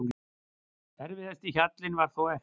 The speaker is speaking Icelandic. Erfiðasti hjallinn var þó eftir.